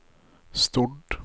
Stord